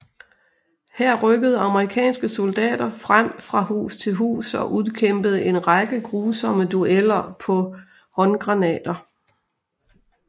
Her rykkede amerikanske soldater frem fra hus til hus og udkæmpede en række grusomme dueller på håndgranater